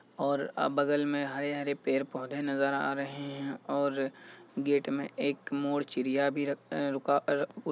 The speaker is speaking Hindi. और अ बगल में हरे-हरे पेड़-पौधे नजर आ रहे है और गेट में एक मोर चिड़िया भी रक अ रुका --